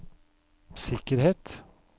sikkerhet